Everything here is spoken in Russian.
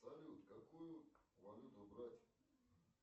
салют какую валюту брать